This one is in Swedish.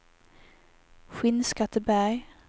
Skinnskatteberg